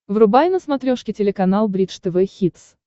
врубай на смотрешке телеканал бридж тв хитс